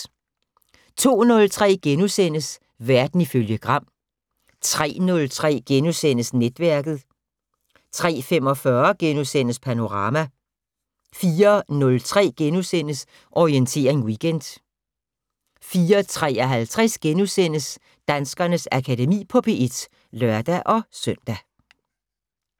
02:03: Verden ifølge Gram * 03:03: Netværket * 03:45: Panorama * 04:03: Orientering Weekend * 04:53: Danskernes Akademi på P1 *(lør-søn)